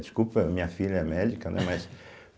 Desculpa, minha filha é médica, né? Mas